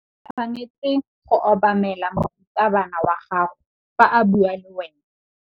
O tshwanetse go obamela morutabana wa gago fa a bua le wena.